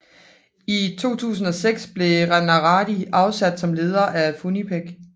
I 2006 blev Ranarridh afsat som leder af Funcinpec